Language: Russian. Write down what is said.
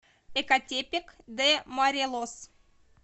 экатепек де морелос